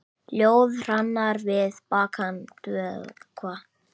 Ljóða hrannir við bakkann dökkva.